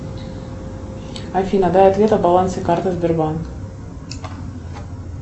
афина дай ответ о балансе карты сбербанк